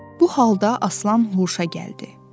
Bu halda Aslan huşa gəldi.